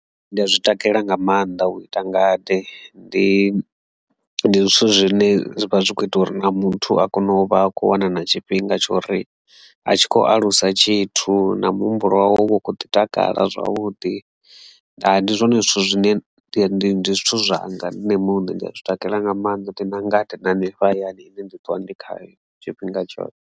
Ndi a zwi takalela nga maanḓa u ita ngade ndi zwithu zwine zwivha zwi kho ita uri muthu a kone u vha a khou wana na tshifhinga tshori a tshi kho alusa tshithu na muhumbulo wawe uvha u kho ḓi takala zwavhuḓi ndi zwone zwithu zwine ndi zwithu zwanga nṋe muṋe nda zwi takalela nga maanḓa ndi na ngade na Miroho hanefha hayani ine ndi ṱuwa ndi khayo tshifhinga tshoṱhe.